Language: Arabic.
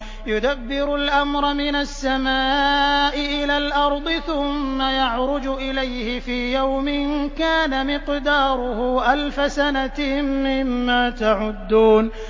يُدَبِّرُ الْأَمْرَ مِنَ السَّمَاءِ إِلَى الْأَرْضِ ثُمَّ يَعْرُجُ إِلَيْهِ فِي يَوْمٍ كَانَ مِقْدَارُهُ أَلْفَ سَنَةٍ مِّمَّا تَعُدُّونَ